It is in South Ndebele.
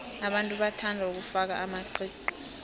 abantu bathanda ukufaka amaqiqi